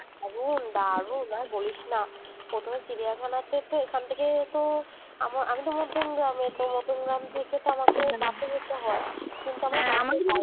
দারুণ দারুন আর বলিস না প্রথমে চিড়িয়াখানা তে এখান থেকে তো আমি তো মধ্যম গ্রামের মধ্যম গ্রাম থেকে তো আমাকে যেতে হয় কিন্তু